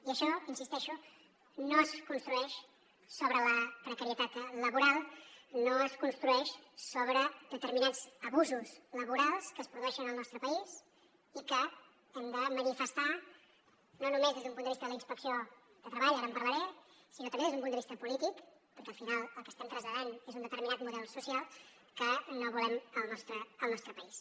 i això hi insisteixo no es construeix sobre la precarietat laboral no es construeix sobre determinats abusos laborals que es produeixen al nostre país i que hem de manifestar no només des d’un punt de vista de la inspecció de treball ara en parlaré sinó també des d’un punt de vista polític perquè al final el que estem traslladant és un determinat model social que no volem al nostre país